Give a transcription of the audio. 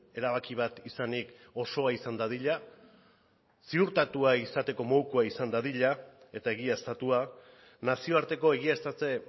erabaki bat izanik osoa izan dadila ziurtatua izateko modukoa izan dadila eta egiaztatua nazioarteko egiaztatze